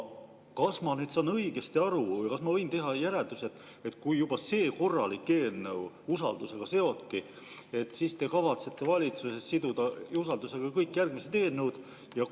Kas ma saan õigesti aru ja kas ma võin teha järelduse, et kui juba see korralik eelnõu usaldus seoti, siis te kavatsete valitsuses siduda usaldus ka kõik järgmised eelnõud?